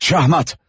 Şahmat!